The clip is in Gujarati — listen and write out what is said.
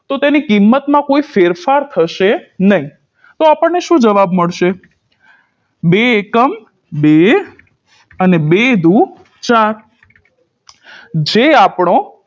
તો તેની કિંમતમાં કોઈ ફેરફાર થશે નઇ તો આપણને શું જવાબ મળશે બે એકમ બે અને બે દૂ ચાર જે આપણો